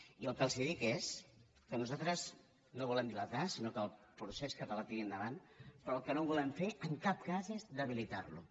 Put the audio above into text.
i el que els dic és que nosaltres no el volem dilatar sinó que el procés català tiri endavant però el que no volem fer en cap cas és debilitar lo